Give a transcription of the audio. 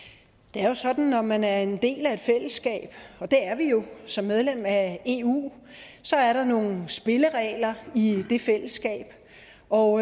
det er jo sådan at når man er en del af et fællesskab og det er vi jo som medlem af eu så er der nogle spilleregler i det fællesskab og